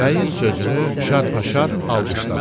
Bəyin sözünü şarpa-şarp alqışladılar.